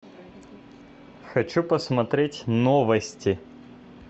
хочу посмотреть новости